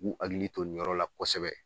hakili to nin yɔrɔ la kosɛbɛ.